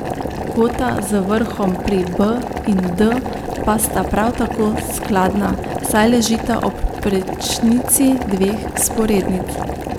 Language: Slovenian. Kota z vrhom pri B in D pa sta prav tako skladna, saj ležita ob prečnici dveh vzporednic.